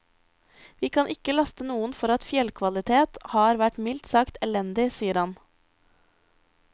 Vi kan ikke laste noen for at fjellkvaliteten har vært mildt sagt elendig, sier han.